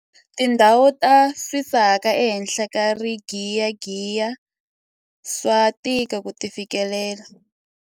Tindhawu ta swisaka ehenhla ka rigiyagiya swa tika ku ti fikelela.